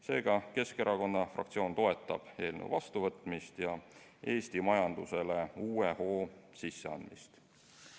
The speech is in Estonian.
Seega, Keskerakonna fraktsioon toetab eelnõu vastuvõtmist ja Eesti majandusele uue hoo sisseandmist.